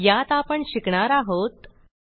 यात आपण शिकणार आहोत 7